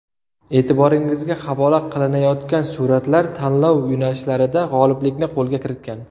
E’tiboringizga havola qilinayotgan suratlar tanlov yo‘nalishlarida g‘oliblikni qo‘lga kiritgan.